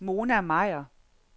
Mona Meyer